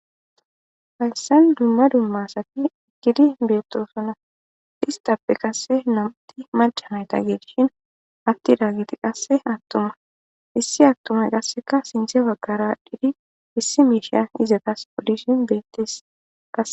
hayssan dumma dumma sati iggidi beetoosona istappe qasse namti machamayta geegishin atti daagiti qasse attuma issi attumay qasseka sinthe baggara dhidi issi miisha izetas poddishin bettes qase